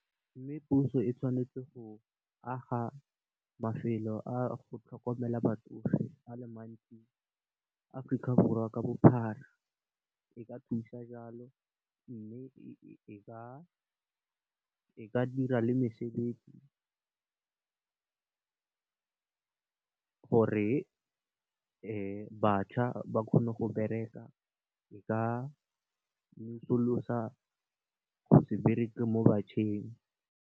Mme, puso e tshwanetse go aga mafelo a go tlhokomela batsofe a le mantsi, Aforika Borwa ka bophara e ka thusa jalo. Mme, e ka dira le mesebetsi gore bašwa ba kgone go bereka e ka mesollosa go se bereke mo bašweng.